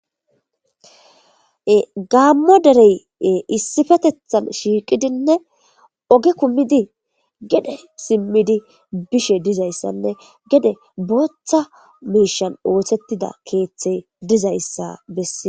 gammo derey issifetethan shiiqidinne oge kummidi gede simmidi bishe dizayssanne gede booththa miishan oothettida keeththey dizayssa bessie